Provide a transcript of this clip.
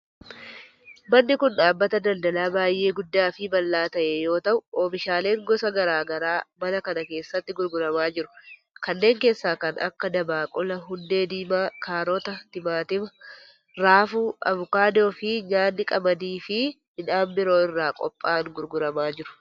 Manni kun, dhaabbata daldalaa baay'ee guddaa fi bal'aa ta'e yoo ta'u, oomishaaleen gosa garaa garaa mana kana keessatti gurguramaa jiru. Kanneen keessaa kan akka: dabaaqula, hundee diimaa, kaarota, timaatima, raafuu, avokaadoo fi nyaanni qamadii fi midhaan biroo irraa qopha'an gurguramaa jiru.